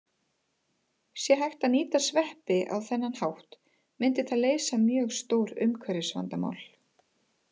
Sé hægt að nýta sveppi á þennan hátt myndi það leysa mörg stór umhverfisvandamál.